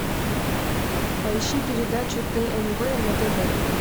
поищи передачу тнв на тв